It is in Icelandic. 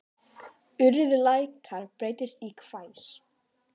Urrið lækkar, breytist í hvæs.